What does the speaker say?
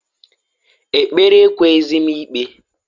Ekpere ekweghizi m ikpe.